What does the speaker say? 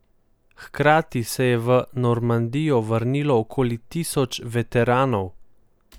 Hkrati se je v Normandijo vrnilo okoli tisoč veteranov.